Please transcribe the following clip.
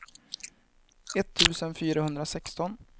etttusen fyrahundrasexton